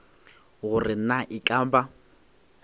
gore na e ka ba